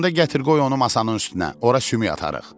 Onda gətir qoy onu masanın üstünə, ora sümük atarıq.